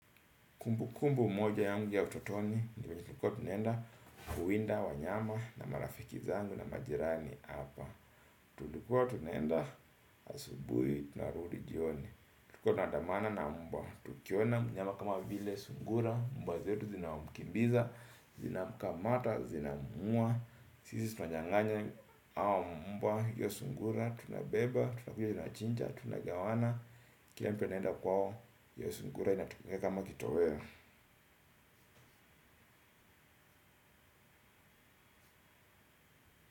Kumbukumbu moja yangu ya utotoni, nilikuwa tunaenda kuwinda wanyama na marafiki zangu na majirani hapa. Tulikuwa tunaenda asubuhi, tunarudi jioni. Tulikuwa tunaandamana na mbwa, tukiona mnyama kama vile sungura, mbwa zetu zinamkimbiza, zinamkamata, zinamuua. Sisi tunanyanganya au mbwa, iyo sungura, tunabeba, tunakuja tunachinja, tunagawana, kila mtu anaenda kwao, hiyo sungura inatumika kama kitoweo. Muzika.